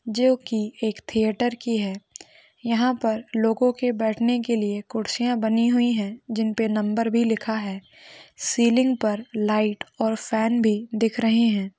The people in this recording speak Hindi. जो की एक थिएटर की है यहा पर लोगो के बैठन के लिए कुर्सियां बनी हुई है जिन पे नंबर भी लिखा है सीलिंग पर लाइट और फैन भी दिख रहे है।